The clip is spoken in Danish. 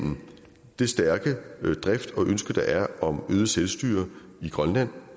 det stærke ønske der er om øget selvstyre i grønland